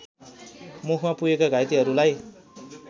मुखमा पुगेका घाइतेहरूलाई